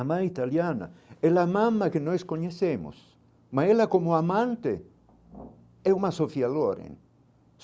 A mãe italiana é que nós conhecemos, mas ela, como amante, é uma.